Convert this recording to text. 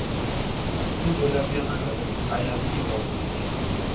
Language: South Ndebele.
imvelaphi yamandebele ayaziwa kuhle hle